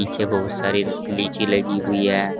पीछे बहोत सारी लीची लगी हुई है।